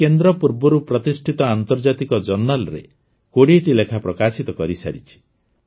ଏହି କେନ୍ଦ୍ର ପୂର୍ବରୁ ପ୍ରତିଷ୍ଠିତ ଆନ୍ତର୍ଜାତିକ ଜର୍ଣ୍ଣାଲରେ ୨୦ଟି ଲେଖା ପ୍ରକାଶିତ କରିସାରିଛି